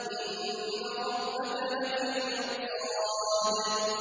إِنَّ رَبَّكَ لَبِالْمِرْصَادِ